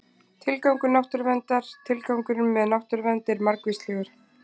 Tilgangur náttúruverndar Tilgangurinn með náttúruvernd er margvíslegur.